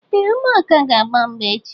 Ee, ụmụaka ga agba mgba echi